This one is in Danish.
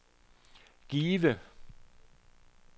Give